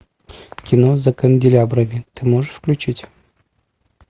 кино за канделябрами ты можешь включить